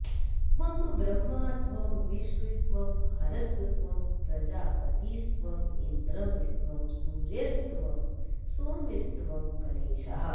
त्वं ब्रह्मा त्वं विष्णुस्त्वं हरस्त्वं प्रजापतिस्त्वमिन्द्रस्त्वं सूर्यस्त्वं सोमस्त्वं गणेशः